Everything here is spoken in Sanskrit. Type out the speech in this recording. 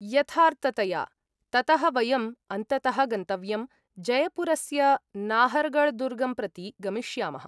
यथार्थतया। ततः वयम् अन्ततः गन्तव्यं, जयपुरस्य नाहर्गढ्दुर्गं प्रति गमिष्यामः।